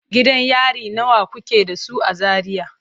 Gidan yari nawa kuke da su a Zaria?